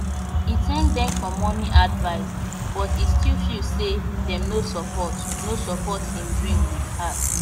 e thank dem for money advice but e still feel say dem no support no support him dream with heart